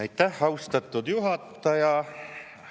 Aitäh, austatud juhataja!